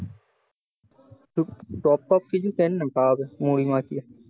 chop টপ কিছু কেন না খাওয়া যাবে মুড়ি মাখিয়ে